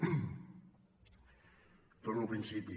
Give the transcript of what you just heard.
i torno al principi